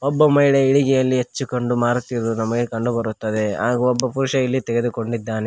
ಒಬ್ಬ ಮಹಿಳೆಯು ಇಲ್ಲಿ ಹಚ್ಚಿಕೊಂಡು ಮಾರುತ್ತಿರುವುದು ನಮಗೆ ಕಂಡು ಬರುತ್ತದೆ ಹಾಗು ಇಲ್ಲಿ ಒಬ್ಬ ಪುರುಷ ತೆಗೆದುಕೊಂಡಿದ್ದಾನೆ.